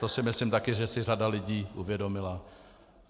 To si myslím také, že si řada lidí uvědomila.